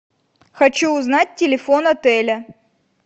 хочу узнать телефон отеля